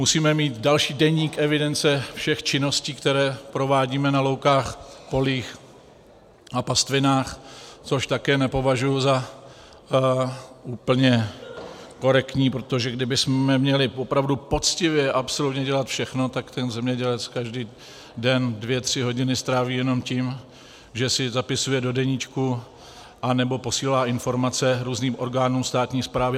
Musíme mít další deník evidence všech činností, které provádíme na loukách, polích a pastvinách, což také nepovažuji za úplně korektní, protože kdybychom měli opravdu poctivě absolutně dělat všechno, tak ten zemědělec každý den dvě tři hodiny stráví jenom tím, že si zapisuje do deníčku nebo posílá informace různým orgánům státní správy.